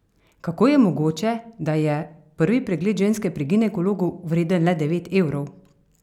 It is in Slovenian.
Kako je mogoče, da je, prvi pregled ženske pri ginekologu vreden le devet evrov?